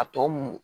A tɔ mun